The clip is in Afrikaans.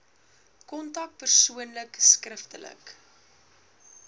kontak persoonlik skriftelik